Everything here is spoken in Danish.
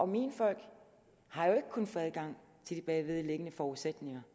mine folk har jo ikke kunnet få adgang til de bagvedliggende forudsætninger